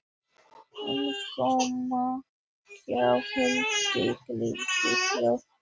Innkoma hjá Hildi leikfimikennara.